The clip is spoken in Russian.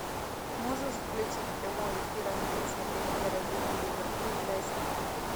можешь включить прямой эфир английской премьер лиги ливерпуль лестер